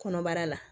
Kɔnɔbara la